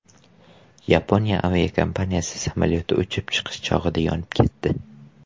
Yaponiya aviakompaniyasi samolyoti uchib chiqish chog‘ida yonib ketdi.